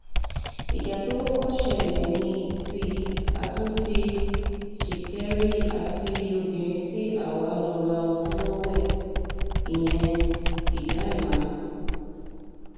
ìjà tó kọ́kọ́ ṣẹlẹ̀ ní ti àtúntì ṣìkẹ̀rì àti obìnrin tí àwa lọ́ọ́ ra ọtí lọ́wọ́ ẹ̀ yẹn ìyá ẹ̀mà